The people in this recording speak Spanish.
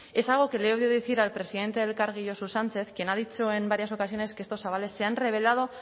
es algo que le he oído decir al presidente de elkargi josu sánchez quien ha dicho en varias ocasiones que estos avales se han revelado